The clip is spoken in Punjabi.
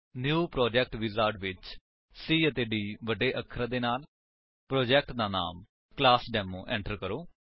ਨਿਊ ਪ੍ਰੋਜੈਕਟ ਵਿਜ਼ਾਰਡ ਵਿੱਚ C ਅਤੇ D ਵੱਡੇ ਅੱਖਰ ਦੇ ਨਾਲ ਪ੍ਰੋਜੇਕਟ ਦਾ ਨਾਮ ਕਲਾਸਡੇਮੋ ਏੰਟਰ ਕਰੋ